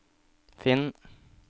finn